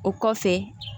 O kɔfɛ